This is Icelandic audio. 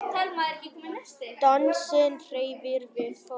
Dansinn hreyfir við fólki.